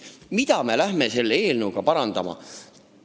Mida me selle eelnõuga parandama läheme?